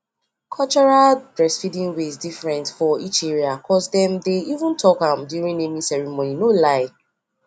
cultural breastfeeding ways different for each area cos dem dey even talk am during naming ceremony no lie